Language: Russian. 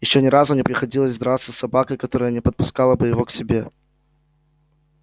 ещё ни разу не приходилось драться с собакой которая не подпускала бы его к себе